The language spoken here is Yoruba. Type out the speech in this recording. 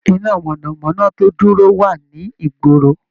Iná mọ̀nà-mọ́ná tó dúró wà ní ìgboro